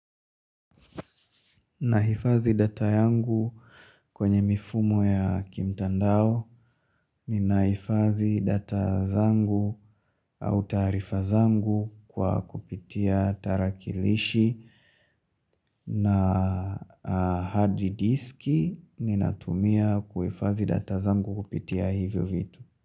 Nahifadhi data yangu kwenye mifumo ya kimtandao ni nahifadhi data zangu au taarifa zangu kwa kupitia tarakilishi na hard disk ni natumia kuhifadhi data zangu kupitia hivyo vitu.